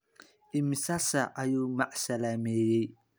Imisa saac ayuu macsalaameeyay?